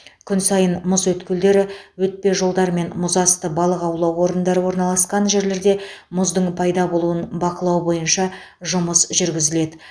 күн сайын мұз өткелдері өтпе жолдар мен мұзасты балық аулау орындары орналасқан жерлерде мұздың пайда болуын бақылау бойынша жұмыс жүргізіледі